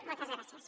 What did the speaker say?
moltes gràcies